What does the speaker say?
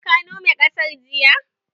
Ka nome ƙasar jiya?